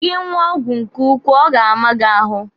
Gị ṅụọ ọgwụ nke ukwuu, ọ ga-ama gị ahụ.